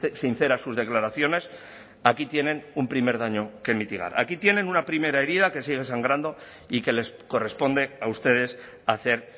sinceras sus declaraciones aquí tienen un primer daño que mitigar aquí tienen una primera herida que sigue sangrando y que les corresponde a ustedes hacer